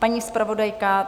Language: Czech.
Paní zpravodajka?